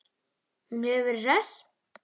Hún hefur verið hress?